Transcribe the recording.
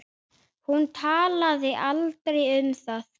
Hún talaði aldrei um það.